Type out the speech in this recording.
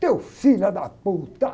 Teu filho da!